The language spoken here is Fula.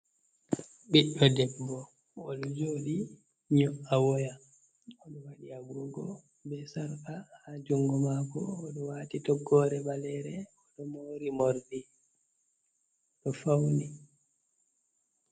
Ɓiɗɗo debbo o ɗo jooɗi nyo''a woya, o ɗo waɗi agoogo be sarka haa junngo maako. O ɗo waati toggoore ɓaleere, o ɗo moori moorɗi, ɗo fawni.